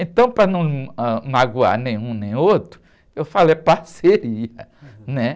Então, para não, ãh, magoar nem um nem outro, eu falei parceria.